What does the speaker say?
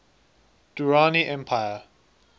durrani empire